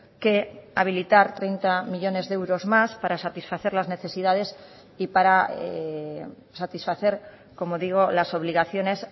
que habilitar treinta millónes de euros más para satisfacer las necesidades y para satisfacer como digo las obligaciones